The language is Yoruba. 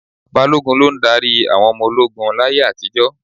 Balógun ló ń darí àwọn ọmọ ogún láyé àtijọ́.